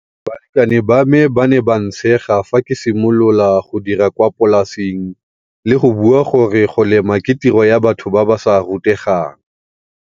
Balekane ba me ba ne ba ntshega fa ke simolola go dira kwa polaseng le go bua gore go lema ke tiro ya batho ba ba sa rutegang.